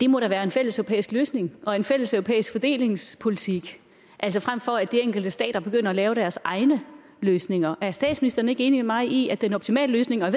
må være en fælleseuropæisk løsning og en fælleseuropæisk fordelingspolitik frem for at de enkelte stater begynder at lave deres egne løsninger er statsministeren ikke enig med mig i at den optimale løsning og